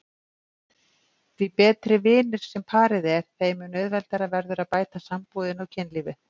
Því betri vinir sem parið er þeim mun auðveldara verður að bæta sambúðina og kynlífið.